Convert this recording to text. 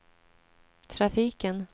trafiken